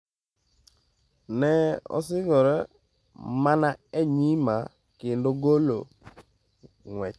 Ne osingore mana e nyima kendo golo ng'wech."